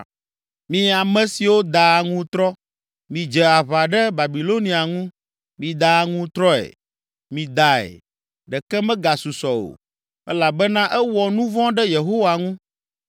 “Mi ame siwo daa aŋutrɔ, midze aʋa ɖe Babilonia ŋu. Mida aŋutrɔe! Midae, ɖeke megasusɔ o, elabena ewɔ nu vɔ̃ ɖe Yehowa ŋu.